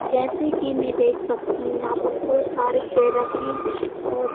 जैसे कि मैं देख सकती हूं यहां पर बहुत सारे चेहर रखे हैं और--